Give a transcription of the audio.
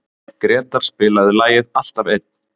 Gretar, spilaðu lagið „Alltaf einn“.